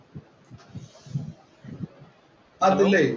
അതുലേ.